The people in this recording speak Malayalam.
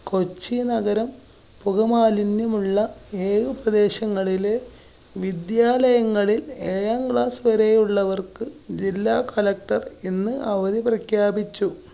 കൊച്ചി നഗരം. പുക മാലിന്യമുള്ള ഏഴു പ്രദേശങ്ങളിലെ വിദ്യാലയങ്ങളില്‍, എഴാം class വരെയുള്ളവര്‍ക്ക് ജില്ലാ collector ഇന്ന് അവധി പ്രഖ്യാപിച്ചു.